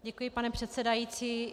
Děkuji, pane předsedající.